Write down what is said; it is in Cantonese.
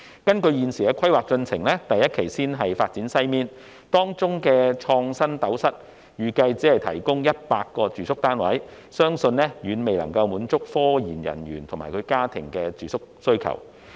根據現時的規劃，第一期會先發展西面，當中的"創新斗室"預計只提供約100個住宿單位，相信遠遠未能滿足科研人員及其家庭的住宿需求。